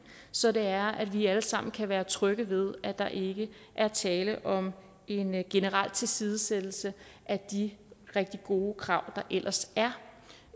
så det er at vi alle sammen kan være trygge ved at der ikke er tale om en generel tilsidesættelse af de rigtig gode krav der ellers er